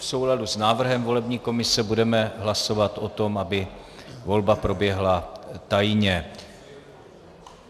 V souladu s návrhem volební komise budeme hlasovat o tom, aby volba proběhla tajně.